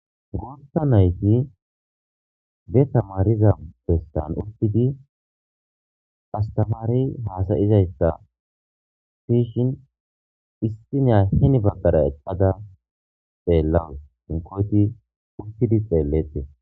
Gorta nayti de tamariza bestan urtidi astamari haasayizayssa fishin issiniya hini baggara eqada xeellawus sinkoyti urtidi xeellete.